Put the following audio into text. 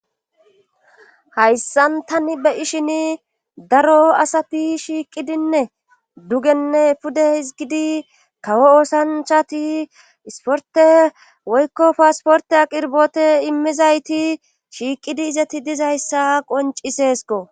Hayssan tani beyishin daro asafi shiiqidinne dugenne pude hizgidi kawo oosanchati isporte woykko paasporte aqirbote immizayti shiiqidi izati dizayssa qoncisesko.